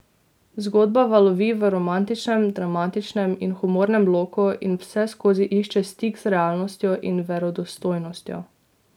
Zgodba valovi v romantičnem, dramatičnem in humornem loku in vseskozi išče stik z realnostjo in verodostojnostjo.